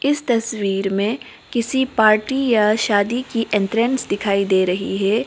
इस तस्वीर में किसी पार्टी या शादी की एंटरेंस दिखाई दे रही है।